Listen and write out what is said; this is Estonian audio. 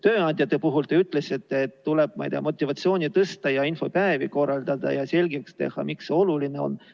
Tööandjate kohta te ütlesite, et tuleb, ma ei tea, motivatsiooni tõsta ja infopäevi korraldada ja selgeks teha, miks see oluline on.